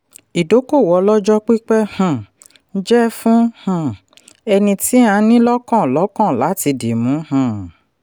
ìdókòwò ọlọ́jọ́pípẹ́ um jẹ́ fún um ẹni tí a ní lọ́kàn lọ́kàn láti dìmú. um